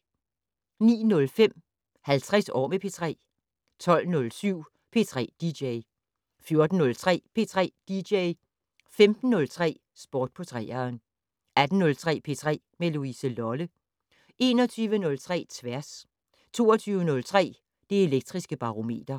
09:05: 50 år med P3 12:07: P3 dj 14:03: P3 dj 15:03: Sport på 3'eren 18:03: P3 med Louise Lolle 21:03: Tværs 22:03: Det Elektriske Barometer